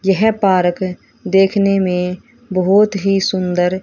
यह पार्क देखने में बहुत ही सुंदर--